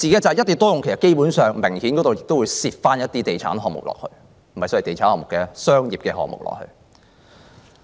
在"一地多用"下，其實明顯地亦會夾雜一些地產項目，或不全是地產項目，該是商業項目。